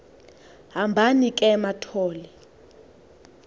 hambani ke mathol